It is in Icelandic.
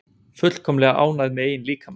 Fullkomlega ánægð með eigin líkama